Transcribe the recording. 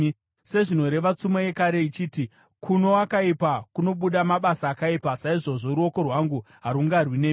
Sezvinoreva tsumo yekare ichiti, ‘Kuno wakaipa kunobuda mabasa akaipa,’ saizvozvo ruoko rwangu harungarwi nemi.